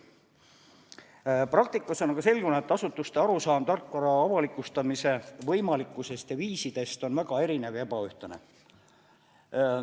Praktikas on aga selgunud, et asutuste arusaam tarkvara avalikustamise võimalikkusest ja viisidest on väga erinev ja ebaühtlane.